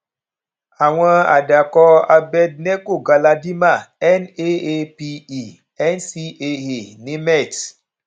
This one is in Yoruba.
àwọn àdàkọ abednego galadima naa pe ncaa nimet